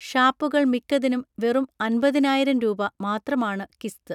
ഷാപ്പുകൾ മിക്കതിനും വെറും അൻപതിനായിരം രൂപ മാത്രമാണു കിസ്ത്